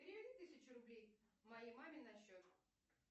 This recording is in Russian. переведи тысячу рублей моей маме на счет